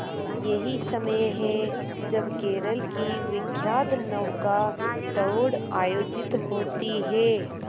यही समय है जब केरल की विख्यात नौका दौड़ आयोजित होती है